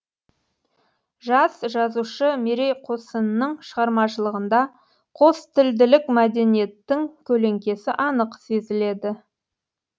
жас жазушы мерей қосынның шығармашылығында қостілділік мәдениеттің көлеңкесі анық сезіледі